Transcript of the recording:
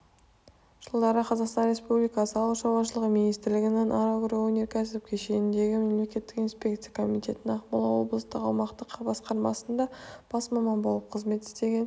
жылдары қазақстан республикасы ауыл шаруашылығы министрлігінің агроөнеркәсіп кешеніндегі мемлекеттік инспекция комитетінің ақмола облыстық аумақтық басқармасында бас маман болып қызмет істеген